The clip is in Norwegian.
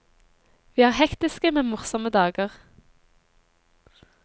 Vi har hektiske, men morsomme dager.